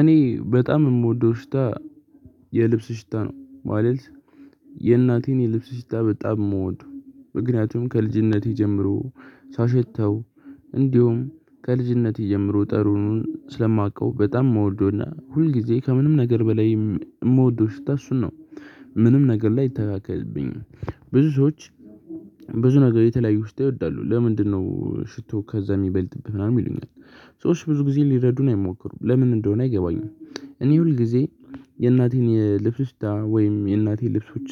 እኔ በጣም የምወደው ሽታ የልብስ ሽታ ነው። ማለት የእናቴን የልብስ ሽታ በጣም እምወደው ምክንያቱም ከልጅነቴ ጀምሮ ሳሸተው እንዲሁም ከልጅነቴ ጀምሩ ጠረኑን ስለማውቀው በጣም ምወደና ሁልጊዜ ከምንም ነገር በላይም እምወደው ሽታ እሱን ነው። ምንም ነገር ላይ አይተካከልብኝም። ብዙዎች ብዙ ነገር የተለያዩ ሽታ ይወዳሉ ለምንድነው ሽቶ ከዛ የሚበልጥብህ ምናምን ይሉኛል። ሰዎች ብዙ ጊዜ ሊረዱን አይሞክሩም ለምን እንደሆነ አይገባኝም። እኔ ሁል ጊዜ የእናቴን የልብስ ሽታ ወይም የእናቴን ልብሶች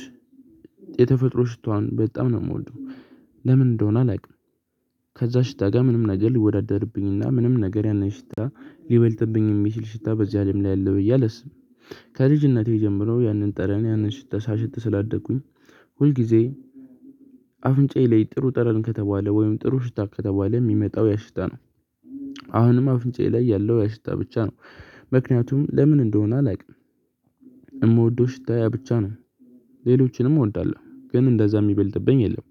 የተፈጥሮ ሽታዋን በጣም ነው የምወደው። ለምን እንደሆነ አላውቅም። ከዛ ሽታ ጋ ምንም ነገር ሊወዳደርብኝና ምንም ነገር ያንን ሽታ ሊበልጥብኝ የሚችል ሽታ በዚህ አለም ላይ አለ ብዬ አላስብም። ከልጅነቴ ጀምሮ ያንን ጠረን ያንን ሽታ ሳሸት ስላደኩኝ ሁል ጊዜ አፍንጫዬ ላይ ጥሩ ጠረን ከተባለ ወይም ጥሩ ሽታ ከተባለ የሚመጣው ያሽታ ነው። አሁንም አፍንጫዬ ላይ ያለው ያሽታ ብቻ ነው። ምክንያቱም ለምን እንደሆነ አላውቅም። የምወደው ሽታ ያ ብቻ ነው። ሌሎችንም እወዳለሁ ግን እንደዛ የሚበልጥብኝ የለም።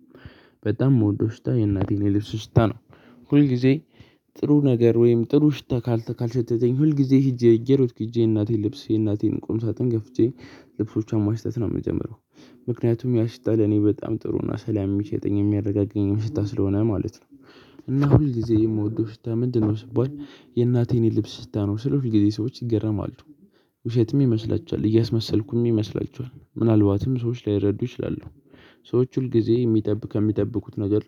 በጣም ምወደው ሽታ የእናቴን የልብስ ሽታ ነው። ሁል ጊዜ ጥሩ ነገር ወይም ጥሩ ሽታ ካልሸተተኝ ሁል ጊዜ ሄጄ እየሮጥኩ ሄጄ የእናቴን ልብስ የእናቴን ቁም ሳጥን ከፍቼ ልብሶቿን ማሽተት ነው የምጀምረው። ምክንያቱም ያሽታ ለኔ በጣም ጥሩ እና ሰላም የሚሰጠኝ የሚያረጋጋኝ ያ ሽታ ስለሆነ ማለት ነው። እና ሁልጊዜ የምወደው ሽታ ምንድነው? ስባል የእናቴን የልብስ ሽታ ነው ስል ሁልጊዜ ሰዎች ይገርማሉ። ውሸትም ይመስላቸዋል እያስመሰልኩም ይመስላቸዋል ምናልባትም ሰዎች ላይረዱ ይችላሉ። ሰዎች ሁል ጊዜ ከሚጠብቁት ነገር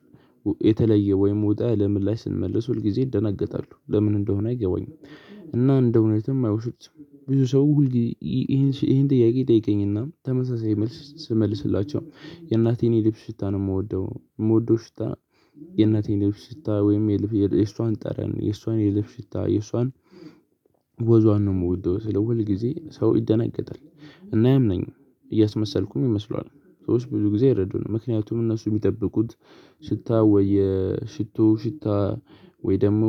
የተለየ ወይም ወጣ ያለ ምላሽ ስንመልስ ሁል ጊዜ ይደናገጣሉ ለምን እንደሆነ አይገባኝም። እና እንደእውነትም አይወስዱትም። ብዙ ሰው ይሄን ይሄን ጥያቄ ይጠይቀኝና ተመሳሳይ መልስ ስመልስላቸው የእናቴን የልብ ሽታ ነው የምወደው የምወደው ሽታ። የእናቴን የልብስ ሽታ ወይም የሷን ጠረን የሷን የልብስ ሽታ የሷን ወዟን ነው የምወደው ስለው ሁልጊዜ ሰው ይደናገጣል። እና አያምነኝም። እያስመሰልኩም ይመስለዋል። ሰዎች ብዙ ጊዜ አይረዱንም ምክንያቱም እነሱ የሚጠብቁት ሽታ ወይ የሽቶ ሽታ። ወይ ደግሞ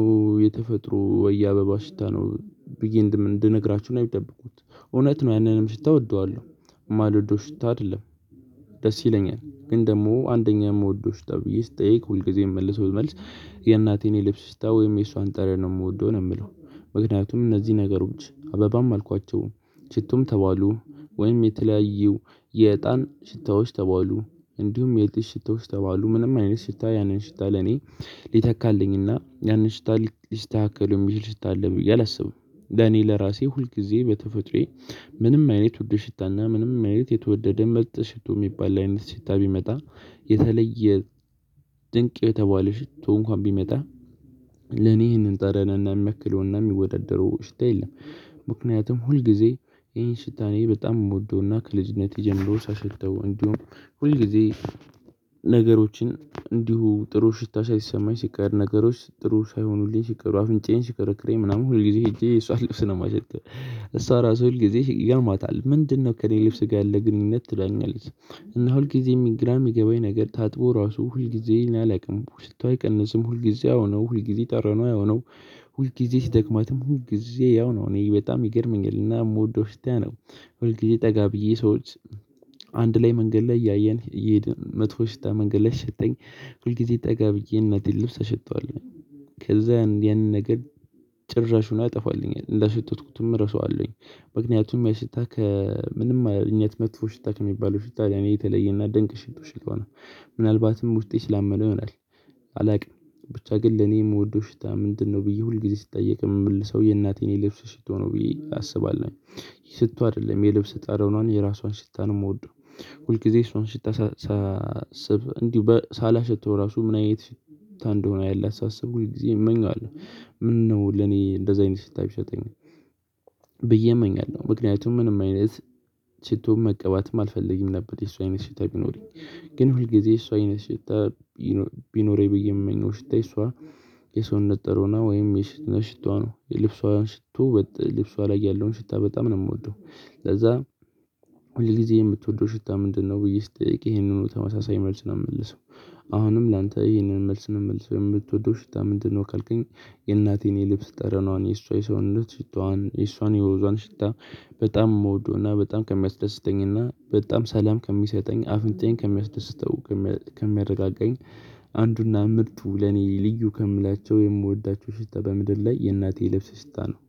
የተፈጥሮ ወይ የአበባ ሽታ ነው። ብዬ እንድነግራቸው ነው የሚጠብቁት እውነት ነው ያንንም ሽታ እወደዋለሁ። እማልወደው ሽታ አይደለም። ደስ ይለኛል ግን ደግሞ አንደኛ የምወደው ሽታ ተብዬ ስትጠይቅ ሁልጊዜ የምመልሰው መልስ የእናቴን የልብስ ሽታ ወይም የእሷን ጠረን ነው የምወደው ነው የምለው። ምክንያቱም እነዚህ ነገሮች አበባም አልኳቸው። ሽቱም ተባሉ ወይም የተለያዩ የእጣን ሽታዎች ተባሉ። እንዲሁም የልጅ ሽታዎች ተባሉ ምንም አይነት ሽታ ያንን ሽታ ለኔ ሊተካልኝና ያንን ሽታ ሊስተካከለው የሚችል ሽታ አለ ብዬ አላስብም። ለኔ ለራሴ ሁል ጊዜ በተፈጥሮዬ ምንም አይነት ውድ ሽታና ምንም አይነት የተወደደ ምርጥ ሽቶ የሚባል አይነት ሽታ ቢመጣ የተለየ ድንቅ የተባለ ሽቶ እንኳን ቢመጣ ለኔ ይህንን ጠረንና የሚያክለውና የሚወዳደረው ሽታ የለም። ምክንያቱም ሁልጊዜ ይህን ሽታ እኔ በጣም የምወደውና ከልጅነቴ ጀምሮ ሳሸተው እንዲሁም ሁልጊዜ ነገሮችን እንዲሁ ጥሩ ሽታ ሳይሰማኝ ሲቀር ነገሮች ጥሩ ሳይሆኑልኝ ሲቀሩ አፍንጫዬን ሲከረክረኝ ምናምን ሁል ጊዜ ሄጄ የሷን ልብስ ነው የማሸተው። እሷ ራሱ ሁል ጊዜ ይገርማታል ምንድነው? ከእኔ ልብስ ጋር ያለህ ግንኙነት ትለኛለች። እና ሁልጊዜም ግራ የሚገባኝ ነገር ታጥቦ ራሱ ሁልጊዜ እኔ አላቅም ሽታው አይቀንስም ሁልጊዜ ያውነው ሁልጊዜ ጠረኗ ያውነው ሁልጊዜ ሲደክማትም ሁልጊዜ ያው ነው እኔ በጣም ይገርመኛልና የምወደው ሽታ ያነው። ሁል ጊዜ ጠጋ ብዬ ሰዎች አንድ ላይ መንገድ ላይ እያየን እየሄድን መጥፋ ሽታ መንገድ ሲሽተኝ ሁልጊዜ ጠጋ ብዬ የእናቴን ልብስ አሸተዋለሁ። ከዛ ያንን ነገር ጭራሹኑ ያጠፋልኛል እንዳሸተትኩትም እረሳዋለሁኝ። ምክንያቱም ያሽታ ከምንም አይነት መጥፎ ሽታ ከሚባለው ሽታ ጋር የተለየና ደንቅ ሽቶ ስለሆን። ምናልባትም ውስጤ ስላመነው ይሆናል። አላውቅም። ብቻ ግን ለኔ የምወደው ሽታ ምንድነው ብዬ ሁልጊዜ ስጠየቅ የምመልሰው የእናቴን የልብስ ሽቶ ነው ብዬ አስባለሁ ሽቶ አይደለም የልብስ ጣረኗን የራሷን ሽታ ነው የምወደው። ሁል ጊዜ የሷን ሽታ ስብ እንዲሁ ሳላሸተው ራሱ ምን አይነት ሽታ እንደሆነ ያላት ሳስብ ሁልጊዜ እመኘዋለሁ። ምነው ለኔ እንደዚህ አይነት ሽታ ቢሰጠኝ ብዬ እመኛለሁ። ምክንያቱም ምንም አይነት ሽቶን መቀባትም አልፈልግም ነበር የሷ አይነት ሽታ ቢኖረኝ። ግን ሁል ጊዜ የሷ አይነት ሽታ ቢኖረኝ ብዬ የምመኘው ሽታ የሰውነት ጠረኗ ወይም የሽታዋ ነው የልብሷ ሽቶ ልብሷ ላይ ያለውን ሽታ በጣም ነው የምወደው። ለዛ ሁል ጊዜ የምትወደው ሽታ ምንድነው? ተብዬ ስጠየቅ ይሄንኑ ተመሳሳይ መልስ ነው የምመልሰው። አሁንም ላንተ ይሄንን መልስ ነው የምመልሰው የምትወደው ሽታ ምንድነው? ካልከኝ የእናቴን የልብስ ጠረኗን የእሷ የሰውነት ሽታዋን የእሷን የውዟን ሽታ በጣም መውደውና በጣም ከሚያስደስተኝና በጣም ሰላም ከሚሰጠኝ አፍንጫዬን ከሚያስደስተው ከሚያረጋጋኝ አንዱና ምርጡ ለኔ ልዩ ከምላቸው የምወዳቸው ሽታ በምድር ላይ የእናቴ ልብስ ሽታ ነው።